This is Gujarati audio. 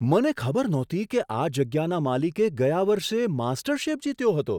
મને ખબર નહોતી કે આ જગ્યાના માલિકે ગયા વર્ષે માસ્ટરશેફ જીત્યો હતો!